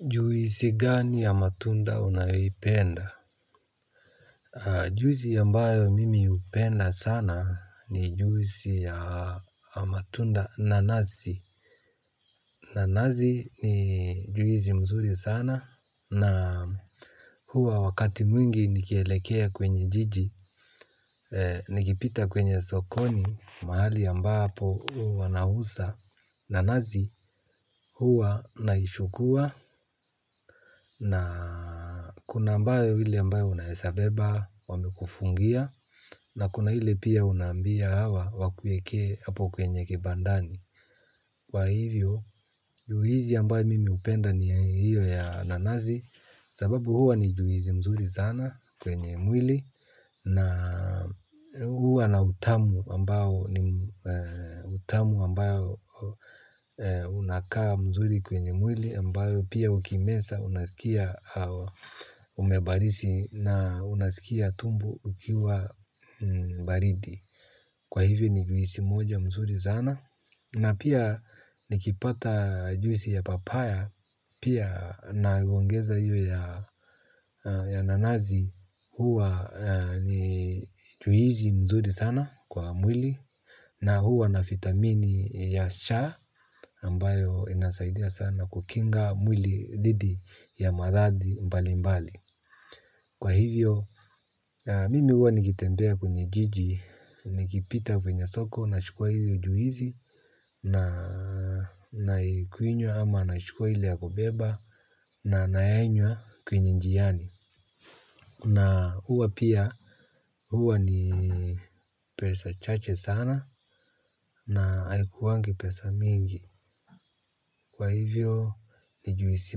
Juisi gani ya matunda unayoipenda. Juisi ya mbayo mimi hupenda sana ni juisi ya matunda nanasi. Nanasi ni juisi mzuri sana na huwa wakati mwingi nikielekea kwenye jiji nikipita kwenye sokoni. Mahali ya ambapo huwana uza nanasi huwa naichukua na kuna ambayo ile ambayo unawezabeba wamekufungia na kuna ile pia unaambia hawa wakuweke hapo kwenye kibandani. Kwa hivyo juisi ambayo mimi hupenda ni hiyo ya nanasi sababu huwa ni juisi mzuri zana kwenye mwili. Na huwa na utamu ambao unakaa mzuri kwenye mwili ambayo pia ukiimeza unaskia umebarizi na unaskia tumbo ukiwa baridi. Kwa hivyo ni juisi moja mzuri sana. Na pia nikipata juisi ya papaya pia naongeza hiyo ya ya nanasi huwa ni juisi mzuri sana kwa mwili na huwa na vitamini ya cha ambayo inasaidia sana kukinga mwili dhidi ya maradhi mbali mbali. Kwa hivyo, mimi huwa nikitembea kwenye jiji, nikipita kwenye soko, nachukua hili juisi, naikunywa ama nachukua ile ya kubeba, na nainywa kwenye njiani. Na huwa pia huwa ni pesa chache sana na haikuwangi pesa mingi. Kwa hivyo ni juisi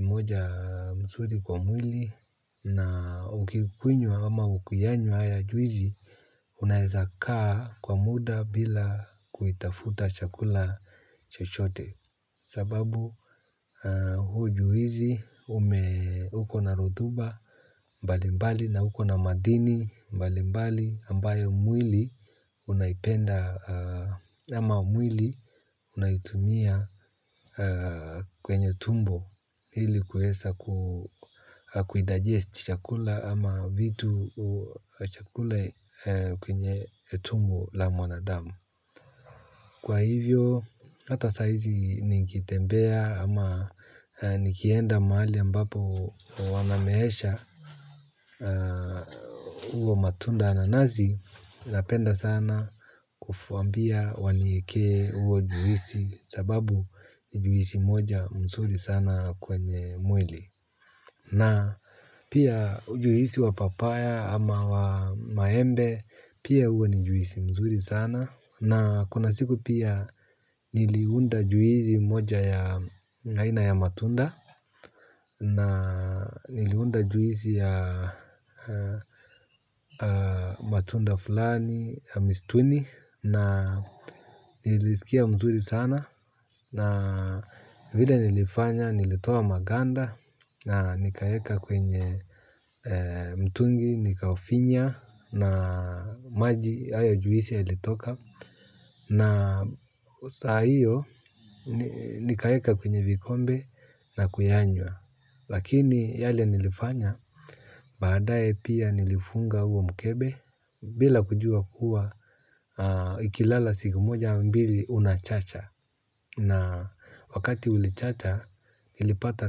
moja mzuri kwa mwili na ukikunywa ama ukiyanywa haya juisi unaweza kaa kwa muda bila kuitafuta chakula chochote. Sababu huu ju hizi uko na rotuba mbali mbali na uko na madini mbali mbali ambayo mwili unaipenda ama mwili unaitumia kwenye tumbo ili kuweza kuidigest chakula ama vitu chakula kwenye tumbo la mwanadamu. Kwa hivyo, hata saa hizi nikitembea ama nikienda mahali ambapo wanameesha. Huo matunda nanazi, napenda sana kuwaambia wanieke huo juisi sababu ni juisi moja mzuri sana kwenye mwili. Na pia juisi wa papaya ama wa maembe pia huwa ni juisi mzuri sana na kuna siku pia niliunda juisi moja ya aina ya matunda na niliunda juisi ya matunda fulani ya mistuni na niliskia mzuri sana. Na vile nilifanya nilitoa maganda na nikayaeka kwenye mtungi nikaufinya na maji haya juisi yalitoka. Na saa hiyo nikaweka kwenye vikombe na kuyanywa. Lakini yale nilifanya baadae pia nilifunga huo mkebe bila kujua kuwa ikilala siku moja au mbili unachacha. Na wakati ulichacha ilipata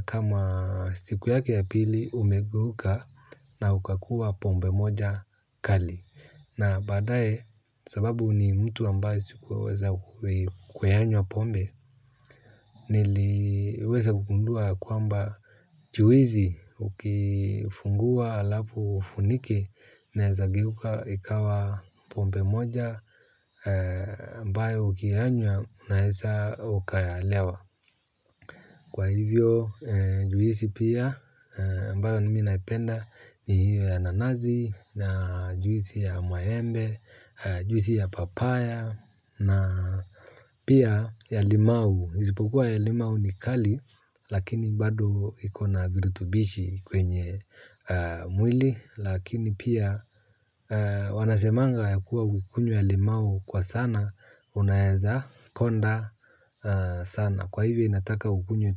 kama siku yake ya pili umegeuka na ukakuwa pombe moja kali. Na badae sababu ni mtu ambaye sikuweza kuyanywa pombe niliweza kugundua ya kwamba juwisi ukifungua halafu ufunike inaeza ikawa pombe moja ambayo ukiayanywa unaeza ukayalewa. Kwa hivyo. Juwisi pia mbayo nimi naipenda ni hiyo ya nanasi. Na juwisi ya maembe, juwisi ya papaya. Na pia ya limau, isipokuwa ya limau ni kali. Lakini bado iko na virutubishi kwenye mwili lakini pia wanasemanga ya kuwa ukikunywa limau kwa sana unaeza konda sana kwa hivyo inataka ukunywe tu.